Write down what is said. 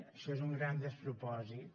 això és un gran despropòsit